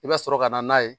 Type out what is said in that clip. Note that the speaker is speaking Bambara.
I bɛ sɔrɔ ka na n'a ye